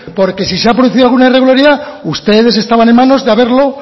porque si se ha producido alguna irregularidad ustedes estaban en manos de haberlo